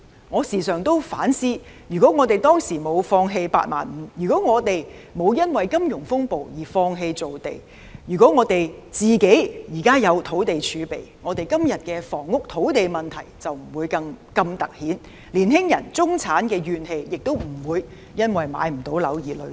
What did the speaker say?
我時常反思，如果當年沒有放棄"八萬五"，如果沒有因為金融風暴而放棄造地，如果政府有土地儲備，今天的房屋土地問題便不會如此突顯，年青人、中產亦不會因買不到樓而積累怨氣。